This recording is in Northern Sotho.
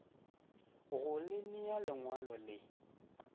go le nea lengwalo le